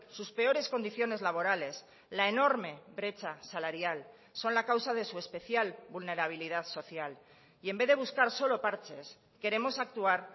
sus peores condiciones laborales la enorme brecha salarial son la causa de su especial vulnerabilidad social y en vez de buscar solo parches queremos actuar